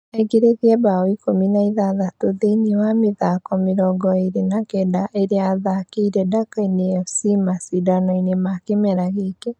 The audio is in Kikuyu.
Aingeretie mbaũ ikũmi na ithathatũ thĩini wa mĩthako mĩrongo ĩrĩ na Kenda ĩria athakeire Ndakaine fc macindanoine ma kĩmera gĩkĩ